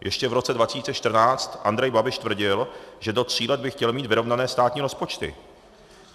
Ještě v roce 2014 Andrej Babiš tvrdil, že do tří let by chtěl mít vyrovnané státní rozpočty.